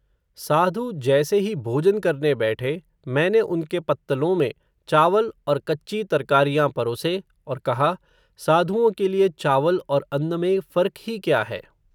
साधु, जैसे ही भोजन करने बैठे, मैंने उनके पत्तलों में, चावल और कच्ची तरकारियाँ परोसे, और कहा, साधुओं के लिए चावल और अन्न में फ़र्क ही क्या है